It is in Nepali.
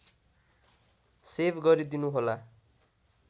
सेभ गरिदिनुहोला